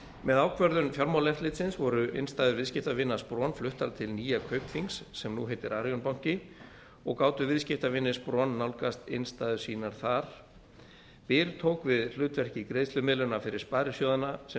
með ákvörðun fjármálaeftirlitsins voru innstæður viðskiptavina spron fluttar til nýja kaupþings sem nú heitir arion banki og gátu viðskiptavinir spron nálgast innstæður sínar þar byr tók við hlutverki greiðslumiðlunar fyrir sparisjóðina sem